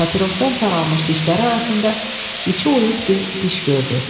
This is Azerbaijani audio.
Papirozdan saralmış dişlər arasında içi oyux bir diş gördü.